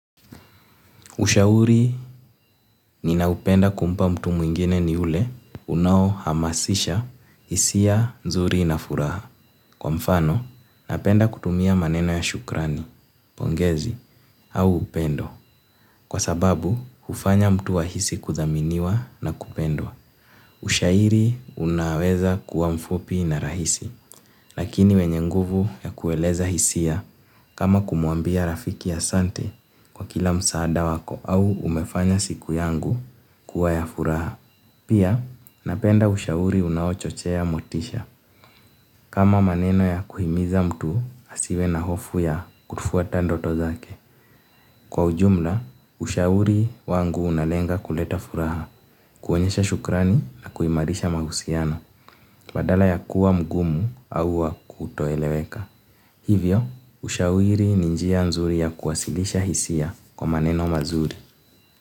Ushauri ninaopenda kumpa mtu mwingine ni ule unaohamasisha hisia nzuri na furaha. Kwa mfano, napenda kutumia maneno ya shukrani, pongezi, au upendo. Kwa sababu, hufanya mtu ahisi kudhaminiwa na kupendwa. Ushairi, unaweza kuwa mfupi na rahisi. Lakini wenye nguvu ya kueleza hisia, kama kumwambia rafiki asante kwa kila msaada wako au umefanya siku yangu kuwa ya furaha. Pia, napenda ushauri unaochochea motisha kama maneno ya kuhimiza mtu asiwe na hofu ya kufuata ndoto zake. Kwa ujumla, ushauri wangu unalenga kuleta furaha kuonyesha shukrani na kuimarisha mahusiano badala ya kuwa mgumu au wa kutoeleweka. Hivyo, ushauri ni njia nzuri ya kuwasilisha hisia kwa maneno mazuri.